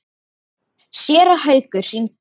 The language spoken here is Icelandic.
Séra Haukur hringdi í mig.